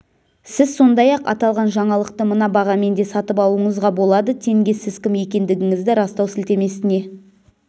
сіз сондай-ақ аталған жаңалықты мына бағамен де сатып алуыңызға болады тенге сіз кім екендігіңізді растау сілтемесіне